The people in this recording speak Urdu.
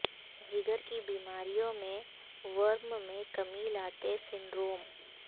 جگر کی بیماریوں میں ورم میں کمی لاتے سنڈروم